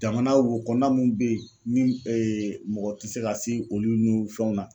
Jamana wo kɔnɔna mun be yen ni mɔgɔ tɛ se ka se olu ni fɛnw na